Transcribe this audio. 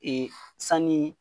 Ee sani